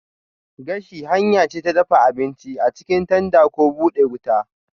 Gashi hanya ce ta dafa abinci a cikin tanda ko bude wuta.